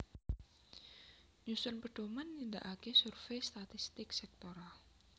Nyusun pedhoman nindakaké survei statistik sektoral